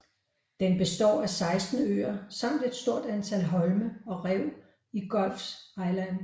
Den består af 16 øer samt et stort antal holme og rev i Gulf Islands